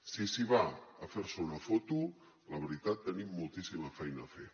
si s’hi va a fer se una foto la veritat tenim moltíssima feina a fer